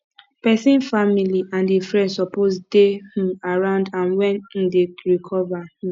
pesin family and e friends suppose dey um around am when em um dey recover um